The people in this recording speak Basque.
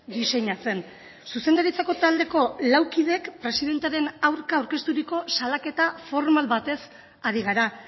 diseinatzen zuzendaritzako taldeko lau kideek presidentearen aurka aurkezturiko salaketa formal batez ari gara